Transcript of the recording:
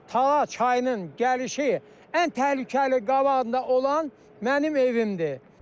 Tala çayının gəlişi ən təhlükəli qabağında olan mənim evimdir.